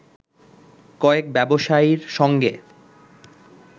কয়েক ব্যবসায়ীর সঙ্গে